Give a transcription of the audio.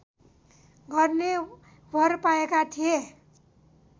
गर्ने वर पाएका थिए